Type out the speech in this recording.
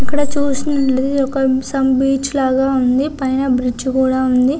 ఇక్కడ చూస్తుంటే some beach లాగా ఉంది. పైన బ్రిడ్జి కూడా ఉంది.